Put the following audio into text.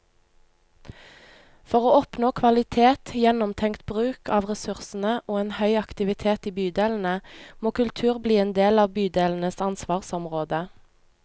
For å oppnå kvalitet, gjennomtenkt bruk av ressursene og en høy aktivitet i bydelene, må kultur bli en del av bydelenes ansvarsområde.